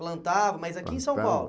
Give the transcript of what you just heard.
Plantava, mas aqui em São Paulo?